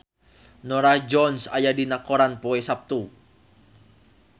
Norah Jones aya dina koran poe Saptu